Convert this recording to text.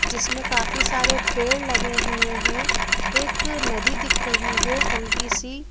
जिसमें काफी सारे पेड़ लगे हुए हैं एक नदी दिख रही है हल्की सी--